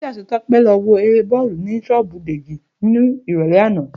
Túndé àti Tó̩pé̩ lo̩ wo eré bó̩ò̩lù ní s̩ó̩ò̩bù Dèjì ní ìrò̩lé̩ àná